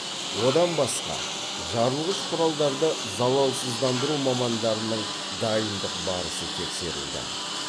одан басқа жарылғыш құралдарды залалсыздандыру мамандарының дайындық барысы тексерілді